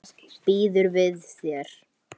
Reyni það ekki.